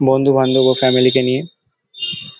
বন্ধু বান্ধব ও ফ্যামিলি -কে নিয়ে--